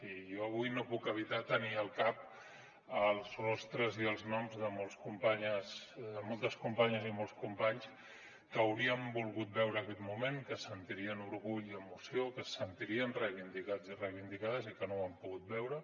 i jo avui no puc evitar tenir al cap els rostres i els noms de moltes companyes i molts companys que haurien volgut veure aquest moment que sentirien orgull i emoció que se sentirien reivindicats i reivindicades i que no ho han pogut veure